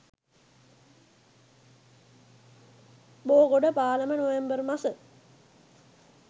බෝගොඩ පාලම නොවැම්බර් මස